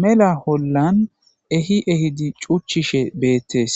mela hollan ehi ehidi cuchchishe beettees